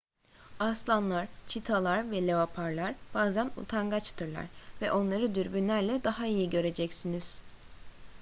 aslanlar çitalar ve leoparlar bazen utangaçtırlar ve onları dürbünlerle daha iyi göreceksiniz